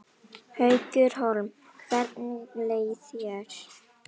Haukur Hólm: Hvernig leið þér?